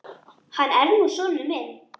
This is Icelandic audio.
Hann er nú sonur minn.